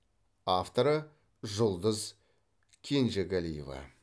авторы жұлдыз кенжегалиева